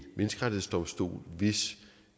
menneskerettighedsdomstol hvis